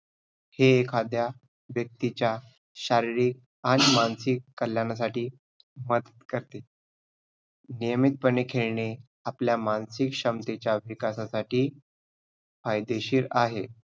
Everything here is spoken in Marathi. हे एखाद्या व्यक्तीचा शारीरिक आणि मानसिक कल्याणासाठी मदत करते. नियमित पणे खेळणे आपल्या मानसिक क्षमतेच्या विकासासाठी फायदेशीर आहे.